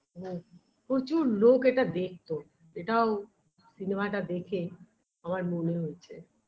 ম প্রচুর লোক এটা দেখতো এটাও cinema -টা দেখে আমার মনে হয়েছে